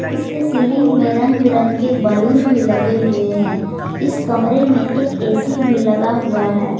इसके सीलिंग में रंग बिरंग के बैलून भी लगे हुए हैं इस कमरे में एक ए_सी भी लगा हुआ है।